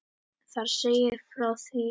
Þar segir frá því er